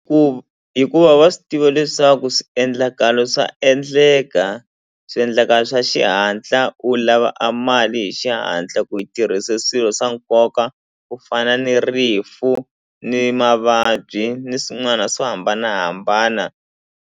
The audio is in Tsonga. hikuva wa swi tiva leswaku swiendlakalo swa endleka swiendlakalo swa xihatla u lava a mali hi xihatla ku yi tirhise swilo swa nkoka ku fana ni rifu ni mavabyi ni swin'wana swo hambanahambana.